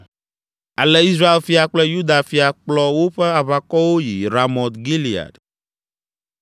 Ale Israel fia kple Yuda fia kplɔ woƒe aʋakɔwo yi Ramot Gilead.